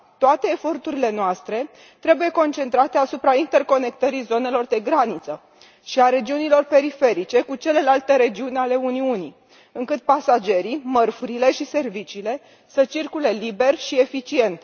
Toate eforturile noastre trebuie concentrate asupra interconectării zonelor de graniță și a regiunilor periferice cu celelalte regiuni ale Uniunii, astfel încât pasagerii, mărfurile și serviciile să circule liber și eficient.